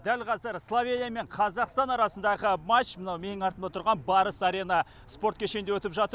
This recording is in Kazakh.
дәл қазір словения мен қазақстан арасындағы матч мына менің артымда тұрған барыс арена спорт кешенінде өтіп жатыр